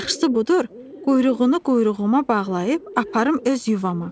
Yaxşısı budur, quyruğunu quyruğuma bağlayıb aparım öz yuvama.